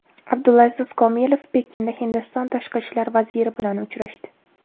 Abdulaziz Komilov Pekinda Hindiston tashqi ishlar vaziri bilan uchrashdi.